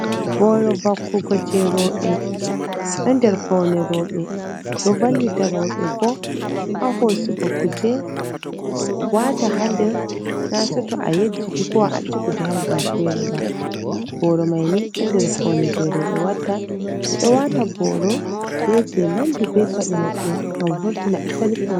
Booro vakkugo jey rooy, ɗo nder pawne rooɓe, ɗo vallita rooɓe, boo haa hoosugo kuuje waata haa nder naa sooto a yejjiti kowa acci kuuje haa babal feree ba, booro may nii ɗo nder pawne jey rooɓe watta ɓe ɗo waata booro bee jey naddi bee paɗe maɓɓe ngam vurtina asali pawne.